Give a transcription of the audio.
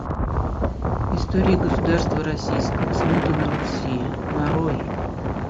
история государства российского смута на руси нарой